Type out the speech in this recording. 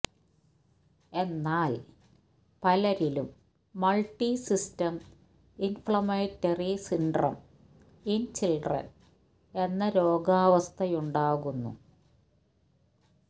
എന്നാൽ പലരിലും multi system inflammatory syndrome in children എന്ന രോഗാവസ്ഥയുണ്ടാകുന്നു